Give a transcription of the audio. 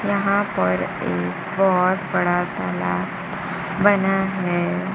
यहां पर एक बहोत बड़ा तालाब बना है।